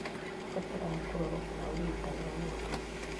ũbataraga kũrorwo kana ũrigitani wa mwanya